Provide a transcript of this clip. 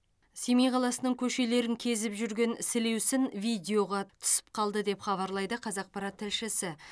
семей қаласының көшелерін кезіп жүрген сілеусін видеоға түсіп қалды деп хабарлайды қазақпарат тілшісі